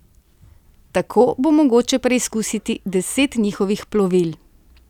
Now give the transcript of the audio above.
Tako bo mogoče preizkusiti deset njihovih plovil.